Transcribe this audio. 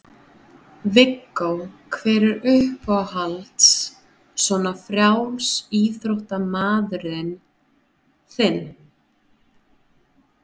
Viggó: hver er uppáhalds svona frjálsíþróttamaðurinn þinn?